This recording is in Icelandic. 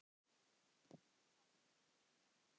Sá sem flýr undan dýri.